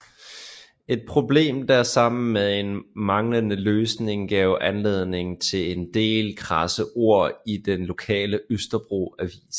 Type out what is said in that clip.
Et problem der sammen med en manglende løsning gav anledning til en del krasse ord i den lokale Østerbro Avis